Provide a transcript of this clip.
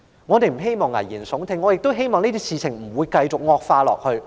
我們不想危言聳聽，只希望這些事情不會繼續惡化。